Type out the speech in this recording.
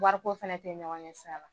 Wariko fana tɛ ɲɔgɔn ɲɛ sira la.